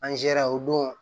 Anzɛrɛ o don